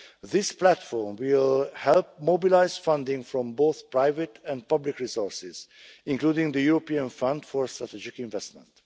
This platform will help mobilise funding from both private and public resources, including the European Fund for Strategic Investment.